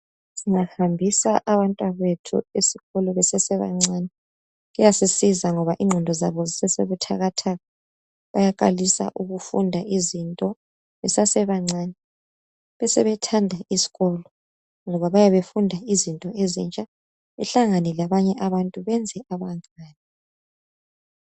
Siyahambisa abantwabethu esikolo besesebancane kuyasisiza ngoba ingqondo zabo zizebuthakathaka bayaqalisa ukufunda izinto besasebancane besebethanda isikolo ngoba bayabe befunda izinto ezintsha bahlangene labanye abantu benze abancane.